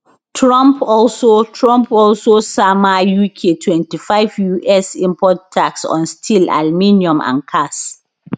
trump also trump also sama uk 25 us import tax on steel aluminium and cars